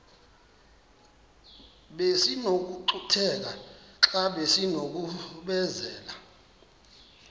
besinokucutheka xa besinokubenzela